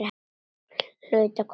Hlaut að koma að því.